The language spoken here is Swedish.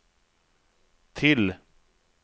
till